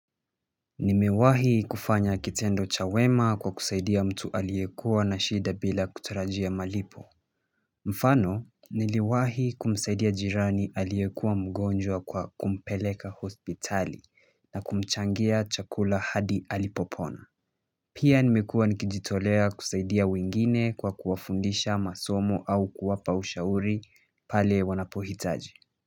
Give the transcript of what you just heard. Nimewahi kufanya kitendo cha wema kwa kusaidia mtu aliekuwa na shida bila kutarajia malipo mfano niliwahi kumsaidia jirani aliekuwa mgonjwa kwa kumpeleka hospitali na kumchangia chakula hadi alipopona pia nimekuwa nikijitolea kusaidia wengine kwa kuwafundisha masomo au kuwapa ushauri pale wanapohitaji.